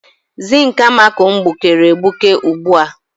Zink amako m gbukere egbuke ugbu a.